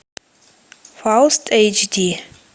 фауст эйч ди